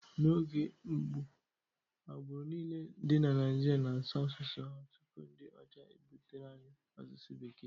N'oge mbụ, agbụrụ niile dị na Naịjirịa na-asụ asụsụ ha tupu ndị ọcha ebutere anyị asụsụ Bekee.